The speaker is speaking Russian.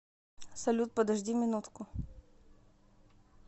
салют подожди минутку